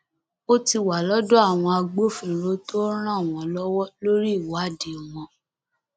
ó ti wà lọdọ àwọn agbófinró tó ń ràn wọn lọwọ lórí ìwádìí wọn